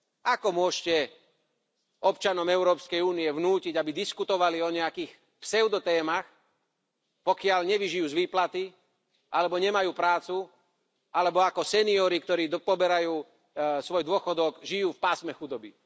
Ako môžete občanom Európskej únie vnútiť, aby diskutovali o nejakých pseudotémach, pokiaľ nevyžijú z výplaty alebo nemajú prácu, alebo ako seniori, ktorí tu poberajú svoj dôchodok, žijú v pásme chudoby.